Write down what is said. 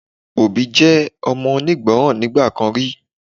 Obi je omo onigboran nigba kan ri